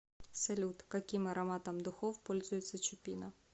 салют каким ароматом духов пользуется чупина